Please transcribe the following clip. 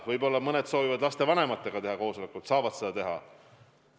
Võib-olla mõned soovivad lastevanematega teha koosolekuid – nad saavad seda teha.